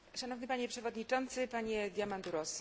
Szanowny panie przewodniczący, panie Diamandouros!